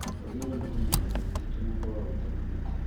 Twagĩrĩirwo kũmenyerera mĩtitũ na kwaga gũtema miti